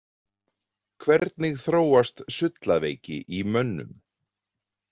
Hvernig þróast sullaveiki í mönnum.